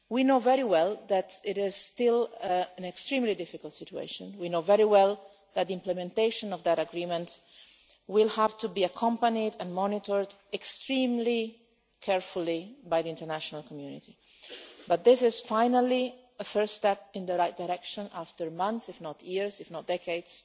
We know very well that it is still an extremely difficult situation and that implementation of that agreement will have to be accompanied and monitored extremely carefully by the international community, but this is finally a first step in the right direction after months, if not years or decades,